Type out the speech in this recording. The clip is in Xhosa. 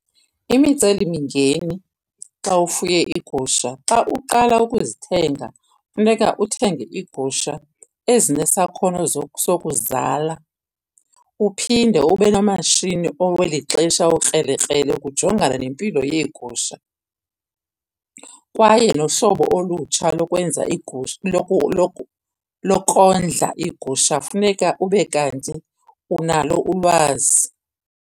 Imicelimingeni xa ufuye iigusha xa uqala ukuzithenga funeka uthenge iigusha ezinesakhono sokuzala. Uphinde ube nomashini oweli xesha okrelekrele ukujongana nempilo yeegusha. Kwaye nohlobo olutsha lokwenza lokondla iigusha funeka ube kanti unalo ulwazi.